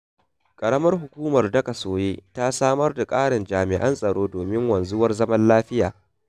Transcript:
Ƙaramar Hukumar Daƙasoye ta samar da ƙarin jami'an tsaro domin wanzuwar zaman lafiya.